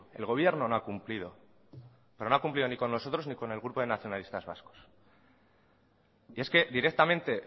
el gobierno no ha cumplido pero no ha cumplido ni con nosotros ni con el grupo de nacionalistas vascos y es que directamente